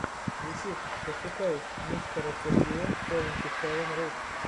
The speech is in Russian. ютюб пошукай мистера сергея севанти севен рус